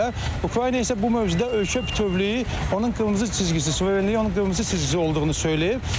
Ukrayna isə bu mövzuda ölkə bütövlüyü, onun qırmızı xəttidir, suverenliyi onun qırmızı xətti olduğunu söyləyir.